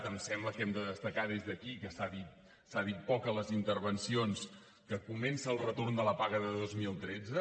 em sembla que hem de destacar des d’aquí que s’ha dit poc a les intervencions que comença el retorn de la paga de dos mil tretze